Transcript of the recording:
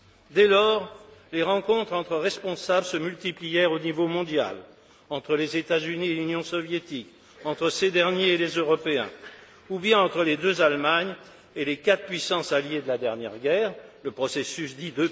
Dès lors, les rencontres entre responsables se multiplièrent au niveau mondial, entre les États Unis et l'Union soviétique, entre ces derniers et les Européens, ou bien entre les deux Allemagne et les quatre puissances alliées de la dernière guerre, le processus dit